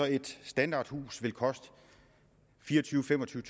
et standardhus koste fireogtyvetusind